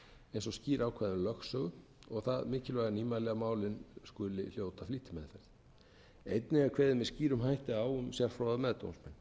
eins og skýr ákvæði um lögsögu og það mikilvæga nýmæli að málin skuli hljóta flýtimeðferð einnig er kveðið með skýrum hætti á um sérfróða meðdómsmenn